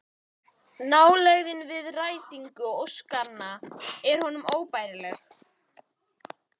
Nálægðin við rætingu óskanna er honum óbærileg